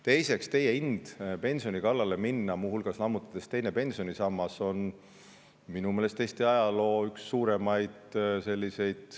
Teiseks, teie ind pensioni kallale minna, muu hulgas lammutades teine pensionisammas, on minu meelest Eesti ajaloo üks suuremaid …